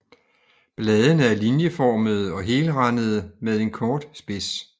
Bladene er linjeformede og helrandede med en kort spids